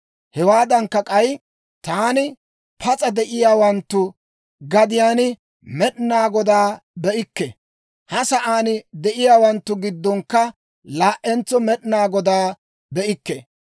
Hewaadankka k'ay, «Taani pas'a de'iyaawanttu gadiyaan Med'inaa Godaa be'ikke; ha sa'aan de'iyaawanttu giddonkka laa"entso Med'inaa Godaa be'ikke.